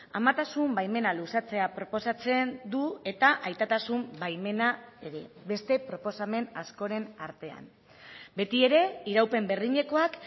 amatasun baimena luzatzea proposatzen du eta aitatasun baimena ere beste proposamen askoren artean beti ere iraupen berdinekoak